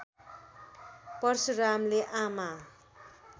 परशुरामले आमा